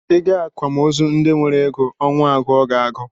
Ị gaa akwamozu ndị nwere ego, ọnwụ agụọ gị agụụ